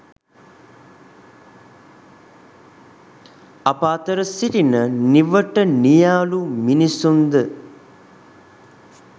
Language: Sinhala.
අප අතර සිටින නිවට නියාලු මිනිසුන්ද